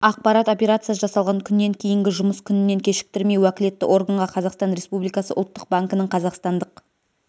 ақпарат операция жасалған күннен кейінгі жұмыс күнінен кешіктірмей уәкілетті органға қазақстан республикасы ұлттық банкінің қазақстандық